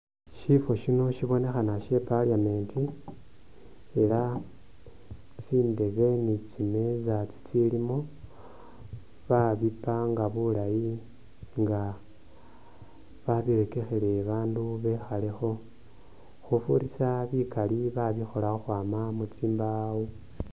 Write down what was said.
Sifo siino sibonekha she e'parliament ela tsindebe ne tsimeeza itsilimo ba bipanga bulaayi nga babirekekhele babandu bekhaale kho khufurisa bikaali babikhola khukhwama mutsimbawo.